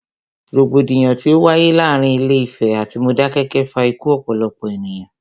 Rògbòdìyàn tí o wáyé láàárín Ilé Ìfẹ̀ atí Modákẹ́kẹ́ fa ikú ọ̀pọ̀lọpọ̀ ènìyàn.